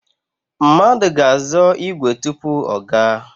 Mmadụ ga-azọ ígwè tupu ọ gaa.